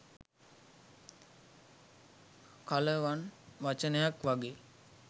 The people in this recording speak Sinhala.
කලවන් වචනයක් වගෙයි.